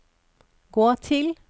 gå til